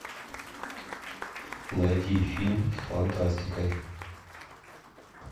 найти фильм с фантастикой